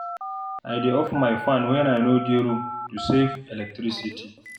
I dey off my fan when I no dey room to save electricity.